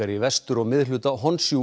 í vestur og miðhluta